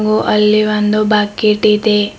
ಹಾಗು ಅಲ್ಲಿ ಒಂದು ಬಕೆಟ್ ಇದೆ.